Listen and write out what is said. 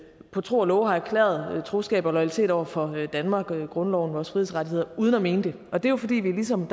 på tro og love har erklæret troskab og loyalitet over for danmark og grundloven og vores frihedsrettigheder uden at mene det og det er jo fordi vi ligesom